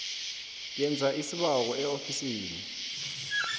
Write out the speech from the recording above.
yenza isibawo eofisini